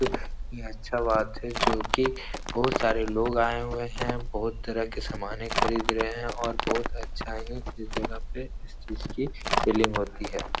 एक यह अच्छा बात है जोकि बहुत सारे लोग आए हुए हैं। बहुत तरह की सामाने खरीद रहे हैं और बहुत अच्छा है। इस जगह पे इस चीज़ की सेलिंग होती है।